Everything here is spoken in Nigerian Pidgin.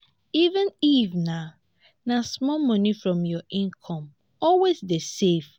even if na na small money from your income always dey save